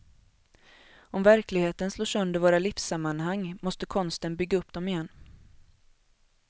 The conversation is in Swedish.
Om verkligheten slår sönder våra livssammanhang måste konsten bygga upp dem igen.